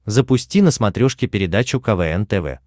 запусти на смотрешке передачу квн тв